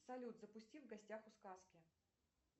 салют запусти в гостях у сказки